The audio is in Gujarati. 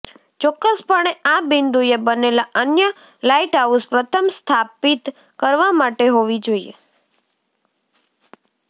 ચોક્કસપણે આ બિંદુએ બનેલા અન્ય લાઇટહાઉસ પ્રથમ સ્થાપિત કરવા માટે હોવી જોઈએ